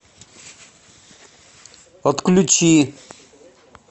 отключи